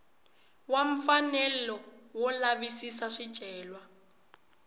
wa mfanelo wo lavisisa swicelwa